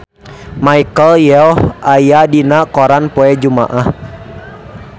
Michelle Yeoh aya dina koran poe Jumaah